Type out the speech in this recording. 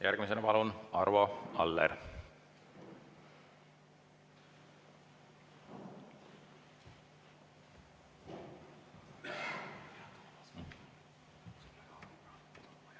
Järgmisena palun, Arvo Aller!